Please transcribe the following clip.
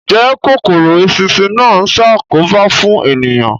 Ǹjẹ́ kòkòrò eṣinṣin náà ń ṣàkóbá fún ènìyàn?